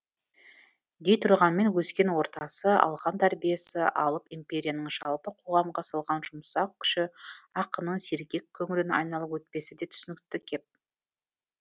дейтұрғанмен өскен ортасы алған тәрбиесі алып империяның жалпы қоғамға салған жұмсақ күші ақынның сергек көңілін айналып өтпесі де түсінікті кеп